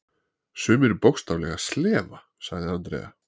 Sumir bókstaflega slefa, sagði Andrea.